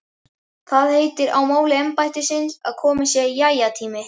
Það heitir á máli embættisins að kominn sé jæja-tími.